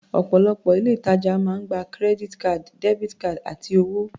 Ọ̀pọ̀lọpọ̀ ilé-ìtajà máa ń gba credit cards, debit cards, àti owó.